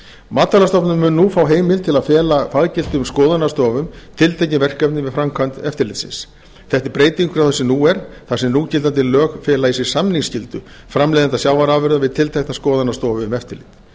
matvælastofnun mun nú fá heimild til að fela faggiltum skoðunarstofum tiltekin verkefni með framkvæmd eftirlitsins þetta er breyting frá því sem nú er þar sem núgildandi lög fela í sér samningsskyldu framleiðenda sjávarafurða við tilteknar skoðunarstofu um eftirlit